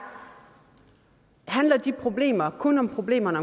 handler de problemer kun om problemerne